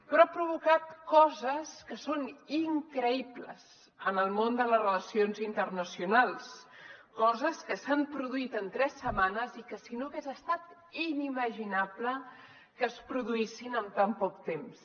però ha provocat coses que són increïbles en el món de les relacions internacionals coses que s’han produït en tres setmanes i que si no hagués estat inimaginable que es produïssin en tan poc temps